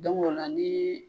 o la ni